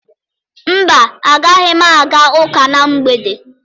Mba, agaghị m aga ụka na mgbede.